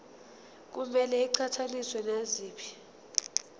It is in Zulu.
kumele iqhathaniswe naziphi